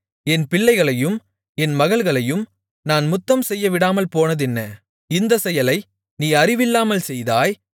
என் பிள்ளைகளையும் என் மகள்களையும் நான் முத்தம் செய்யவிடாமல் போனதென்ன இந்தச் செயலை நீ அறிவில்லாமல் செய்தாய்